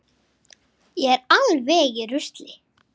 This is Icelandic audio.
Þú hefðir spurt og spurt.